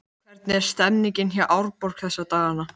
Hvernig er stemningin hjá Árborg þessa dagana?